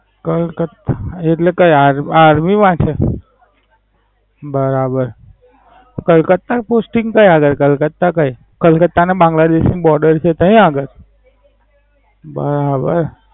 કલકત્તા માં. એટલે ક્યાં Army માટે? બરાબર. કલકત્તા Posting થયું કલકત્તા કઈ? કલકત્તા ને બાંગ્લાદેશ ની Border છે તઈ આગળ?